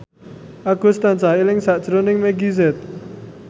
Agus tansah eling sakjroning Meggie Z